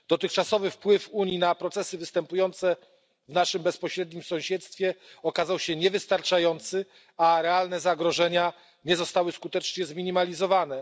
Dotychczasowy wpływ Unii na procesy występujące w naszym bezpośrednim sąsiedztwie okazał się niewystarczający, a realne zagrożenia nie zostały skutecznie zminimalizowane.